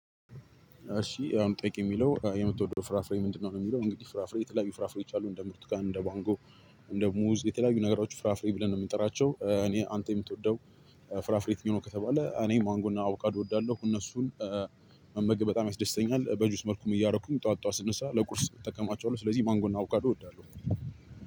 እሺ የአሁኑ ጥያቄ የሚለው የምትወደው ፍራፍሬ ምንድነው ነው የሚለው? እንግዲህ ፍራፍሬ የተለያዩ ፍራፍሬዎች አሉ እንደ ብርቱካን እንደ ማንጎ። እንደ ሙዝ የተለያዩ ነገሮች ፍራፍሬ ብለን ነው የምንጠራቸው። እኔ አንተ የምትወደው የትኛው ነው? ከተባለ እኔ ማንጎ እና አቦካዶ እወዳለሁ። እነሱን መመገብ በጣም ያስደስተኛል። በጁስ መልኩም እያረኩኝ ጠዋት ጠዋት ስነሳ ለቁርስ እጠቀማቸዋለሁ። ስለዚህ ማንጎና አቦካዶ እወዳለሁ።